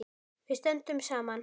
Við stöndum saman!